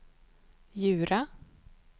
Djura